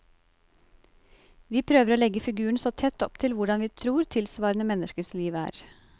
Vi prøver å legge figuren så tett opp til hvordan vi tror tilsvarende menneskers liv er.